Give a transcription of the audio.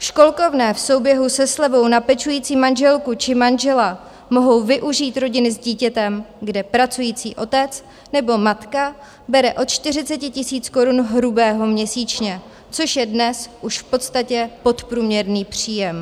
Školkovné v souběhu se slevou na pečující manželku či manžela mohou využít rodiny s dítětem, kde pracující otec nebo matka bere od 40 000 korun hrubého měsíčně, což je dnes už v podstatě podprůměrný příjem.